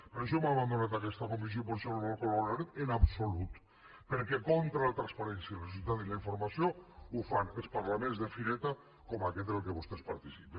per això hem abandonat aquesta comissió i per això no la valorarem en absolut perquè contra la transparència i la societat de la informació ho fan els parlaments de fireta com aquest en el qual vostès participen